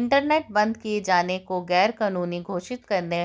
internet बंद किए जाने को गैर कानूनी घोषित करने